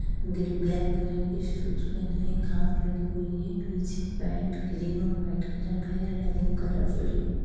दिल black colour के shoes पहने हैं घास लगी हुई हैं पीछे पेंट ग्रीन और वाइट कलर का हैं कलरफुल हैं।